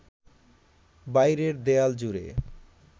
বাইরের দেয়াল জুড়ে